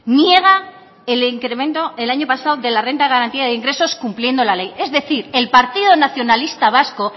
niega el incremento el año pasado de la renta de garantía de ingresos cumpliendo la ley es decir el partido nacionalista vasco